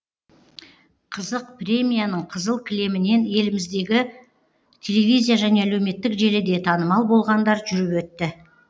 қызық премияның қызыл кілемінен еліміздегі телевизия және әлеуметтік желіде танымал болғандар жүріп өтті